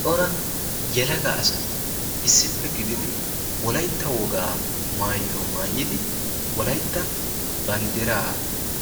cora yelaga asati issippe gididi wolaytta wogaa maayuwaa maayidi wolaytta banddiraa